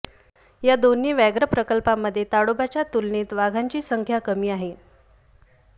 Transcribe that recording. या दोन्ही व्याघ्र प्रकल्पांमध्ये ताडोबाच्या तुलनेत वाघांची संख्या कमी आहे